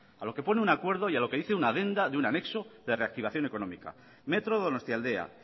a lo que pone un acuerdo y a lo que dice una adenda de un anexo de reactivación económica metro donostialdea